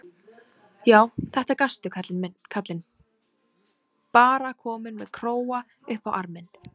Já, þetta gastu, kallinn, bara kominn með króga upp á arminn.